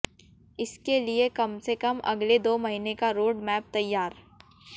इसके लिए कमसे कम अगले दो महीने का रोड मैप तैयार